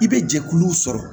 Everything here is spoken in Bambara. I bɛ jɛkulu sɔrɔ